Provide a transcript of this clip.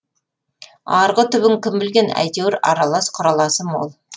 арғы түбін кім білген әйтеуір аралас құраласы мол